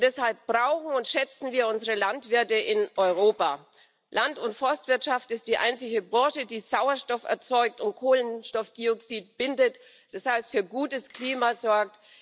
Und deshalb brauchen und schätzen wir unsere Landwirte in Europa. Land und Forstwirtschaft ist die einzige Branche, die Sauerstoff erzeugt und Kohlenstoffdioxid bindet, das heißt für gutes Klima sorgt.